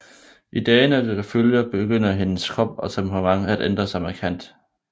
I dagene der følger begynder hendes krop og temperament at ændre sig markant